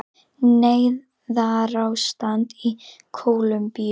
Neyðarástand í Kólumbíu